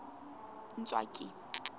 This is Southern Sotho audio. ntswaki